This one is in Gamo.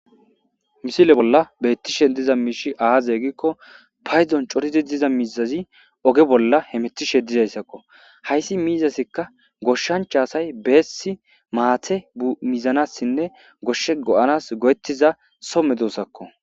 Misile bolla beettishe diza miishi aaze gikko payzon coridi diza mizazi oge bolla hemetishe dizayssakko hayssi miizasikka goshshancha asay beessi maate mizanassinne goshshe go7anas go7ettiza somme duusakko